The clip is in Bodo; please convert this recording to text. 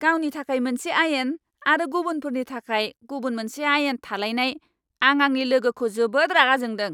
गावनि थाखाय मोनसे आयेन आरो गुबुनफोरनि थाखाय गुबुन मोनसे आयेन थालायनाय, आं आंनि लोगोखौ जोबोद रागा जोंदों।